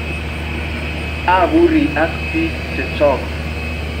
Apurii ak pik chechok